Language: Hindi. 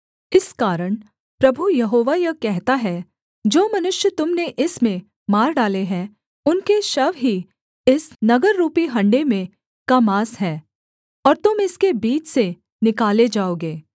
इस कारण प्रभु यहोवा यह कहता है जो मनुष्य तुम ने इसमें मार डाले हैं उनके शव ही इस नगररूपी हँडे में का माँस है और तुम इसके बीच से निकाले जाओगे